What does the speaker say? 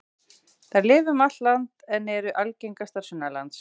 Þær lifa um allt land en eru algengastar sunnanlands.